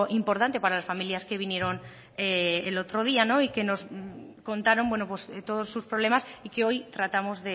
importante para las familias que vinieron en otro día y que nos contaron todos sus problema y que hoy tratamos